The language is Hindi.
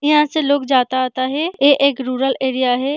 यहाँ से लोग जाता-आता है ये एक रूरल एरिया है।